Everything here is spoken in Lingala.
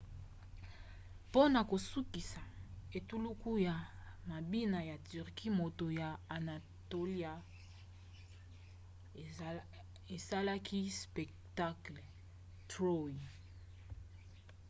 mpona kosukisa etuluku ya mabina ya turquie moto ya anatolia esalaki spectacle troy